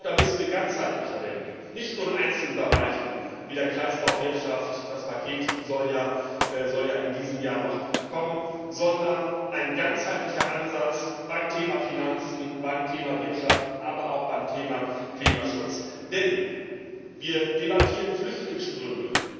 Ich glaube, da müssen wir ganzheitlicher denken, nicht nur in einzelnen Bereichen wie der Kreislaufwirtschaft das Paket soll ja in diesem Jahr noch kommen sondern einen ganzheitlichen Ansatz beim Thema Finanzen, beim Thema Wirtschaft, aber auch beim Thema Klimaschutz verfolgen. Denn wir debattieren Flüchtlingsströme